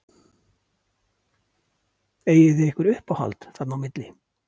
Eigið þið ykkur uppáhald þarna á milli?